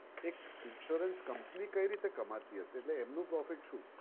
એક insurance company કઈ રીતે કમાતી હશે? એટલે એમનું profit શું?